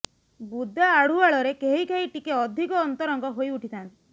ବୁଦା ଆଢୁଆଳରେ କେହି କେହି ଟିକେ ଅଧିକ ଅନ୍ତରଙ୍ଗ ହୋଇ ଉଠିଥାଆନ୍ତି